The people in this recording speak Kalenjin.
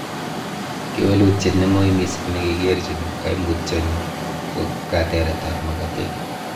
Kewelutiet neng'oi missing' nekikerchin koimutioni ko kateretab makatet.